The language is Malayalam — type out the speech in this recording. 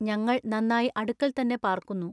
ഞങ്ങൾ നന്നായി അടുക്കൽ തന്നെ പാർക്കുന്നു.